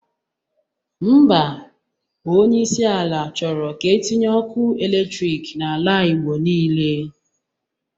Ḿbà, onyeisi ala chọrọ ka etinye ọku eletrik n'ala igbo nile.